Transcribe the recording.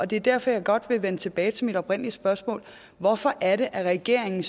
det er derfor jeg godt vil vende tilbage til mit oprindelige spørgsmål hvorfor er det at regeringen